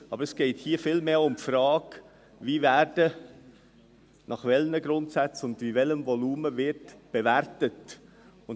Aber es geht vielmehr um die Frage, wie, nach welchen Grundsätzen und nach welchem Volumen bewertet wird.